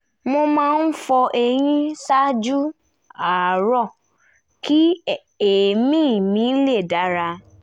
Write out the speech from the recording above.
mo máa ń fọ eyín ṣáájú àárọ̀ kí èémí mi lè dára